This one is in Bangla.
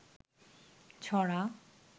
ছড়া